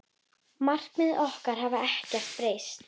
Markmið okkar hafa ekkert breyst.